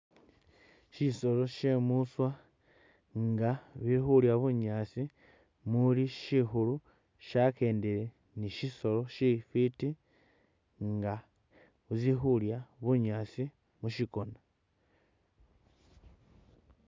Shisoolo shye muswa nga ili khulya bunyaasi muli shikhuulu shyakendele ni shisoolo shifwiti nga zili khulya bunyaasi mushikona